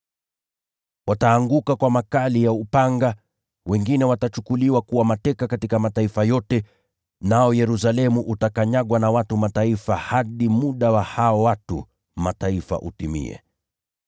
Wataanguka kwa makali ya upanga, na wengine watachukuliwa kuwa mateka katika mataifa yote. Nao mji wa Yerusalemu utakanyagwa na watu wa Mataifa hadi muda wa hao watu wa Mataifa utimie.